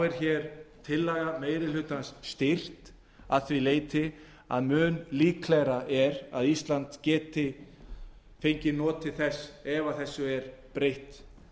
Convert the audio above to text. er hér tillaga meiri hlutans styrkt að því leyti að mun líklegra er að ísland geti fengið notið þess ef þessu er breytt